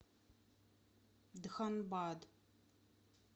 дханбад